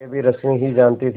यह भी रश्मि ही जानती थी